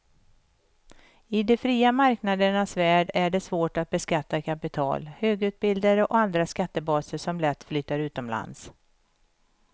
I de fria marknadernas värld är det svårt att beskatta kapital, högutbildade och andra skattebaser som lätt flyttar utomlands.